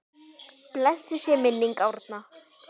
Blessuð sé minning Árna.